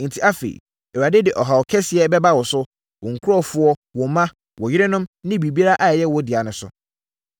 Enti afei, Awurade de ɔhaw kɛseɛ bɛba wo, wo nkurɔfoɔ, wo mma, wo yerenom ne biribiara a ɛyɛ wo dea so.